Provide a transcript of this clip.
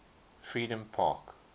freedompark